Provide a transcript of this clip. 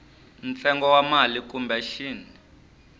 ntsengo wa mali kumbe xin